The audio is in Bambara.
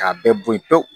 K'a bɛɛ boyi pewu